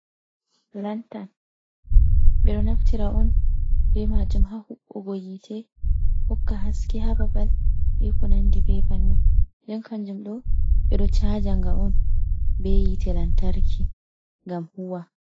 Lantan. Ɓe ɗo naftira on be maajum haa huɓɓugo yite, hokka haske haa babal, be ko nandi be bannin. Nden kanjum ɗo ɓe ɗo caajanga on be yite lantarki ngam huuwa.